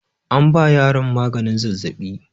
An ba yaron maganin zazzaɓi.